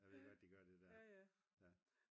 jeg ved godt de gør det der